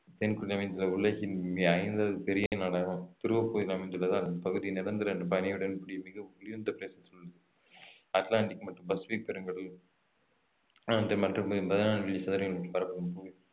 உலகின் இங்கே ஐந்தாவது பெரிய நாடாகும் துருவப்பகுதியில் அமைந்துள்ளதால் இப்பகுதி நிரந்தரபனியுடன் கூடிய மிக குளிர்ந்த அட்லாண்டிக் மற்றும் பசுபிக் பெருங்கடல்